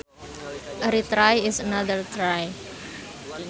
A retry is another try